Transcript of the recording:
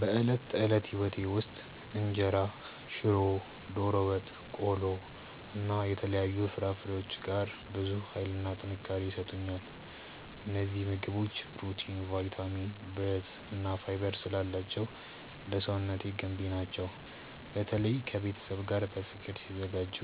በዕለት ተዕለት ሕይወቴ ውስጥ እንጀራ፣ ሽሮ፣ ዶሮ ወጥ፣ ቆሎ እና የተለያዩ ፍራፍሬዎች ጋር ብዙ ኃይልና ጥንካሬ ይሰጡኛል። እነዚህ ምግቦች ፕሮቲን፣ ቫይታሚን፣ ብረት እና ፋይበር ስላላቸው ለሰውነቴ ገንቢ ናቸው። በተለይ ከቤተሰብ ጋር በፍቅር ሲዘጋጁ